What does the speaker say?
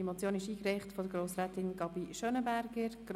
Diese Motion wurde von Grossrätin Gabi Schönenberger eingereicht.